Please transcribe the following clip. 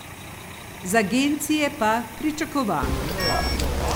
Z agencije pa pričakovano.